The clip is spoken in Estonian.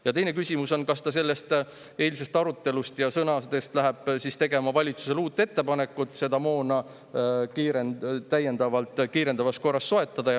Ja teine küsimus on, kas ta eilsest arutelust ja sõnadest lähtuvalt läheb siis tegema valitsusele uut ettepanekut, et seda täiendavat moona kiirendatud korras soetada.